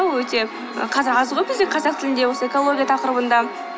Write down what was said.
ол өте қазақ аз ғой бізде қазақ тілінде осы экология тақырыбында